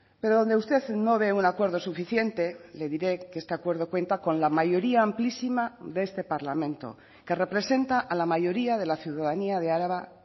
pero donde usted no ve un acuerdo suficiente le diré que este acuerdo cuenta con la mayoría amplísima de este parlamento que representa a la mayoría de la ciudadanía de araba